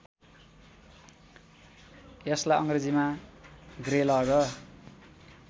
यसलाई अङ्ग्रेजीमा ग्रेलग